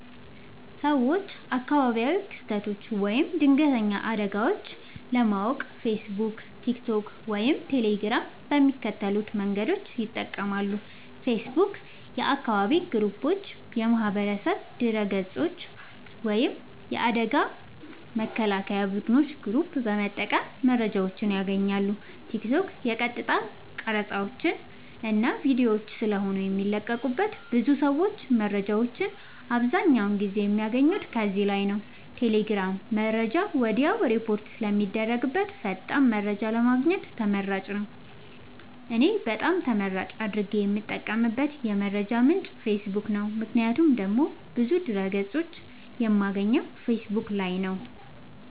ሰወች አካባቢያዊ ክስተቶች ወይም ድንገተኛ አደጋወች ለማወቅ ፌሰቡክ ቲክቶክ ወይም ቴሌግራም በሚከተሉት መንገዶች ይጠቀማሉ ፌሰቡክ :- የአካባቢ ግሩፖች የማህበረሰብ ገፆች ወይም የአደጋ መከላከያ ቡድኖች ግሩፕ በመጠቀም መረጃወችን ያገኛሉ ቲክቶክ :- የቀጥታ ቀረፃወች እና ቪዲዮወች ስለሆነ የሚለቀቁበት ብዙ ሰወች መረጃወችን አብዛኛውን ጊዜ የሚያገኙት ከዚህ ላይ ነዉ ቴሌግራም :-መረጃ ወድያውኑ ሪፖርት ስለሚደረግበት ፈጣን መረጃን ለማግኘት ተመራጭ ነዉ። እኔ በጣም ተመራጭ አድርጌ የምጠቀምበት የመረጃ ምንጭ ፌሰቡክ ነዉ ምክንያቱም ደግሞ ብዙ ድህረ ገፆችን የማገኘው ፌሰቡክ ላይ ነዉ